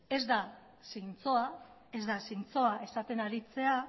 ez da zintzoa esaten aritzea